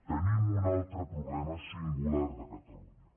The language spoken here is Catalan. tenim un altre problema singular de catalunya